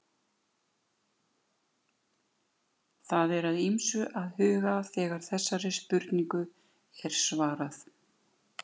Það er að ýmsu að huga þegar þessari spurningu er svarað.